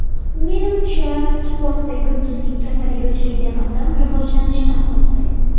Menimcha, sportda yulduzlik kasaliga uchragan odam rivojlanishdan to‘xtaydi.